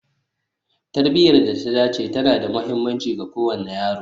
Tarbiyar da ta dace tana da mahimmanci ga kowane yaro